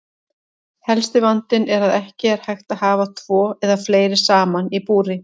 Helsti vandinn er að ekki er hægt að hafa tvo eða fleiri saman í búri.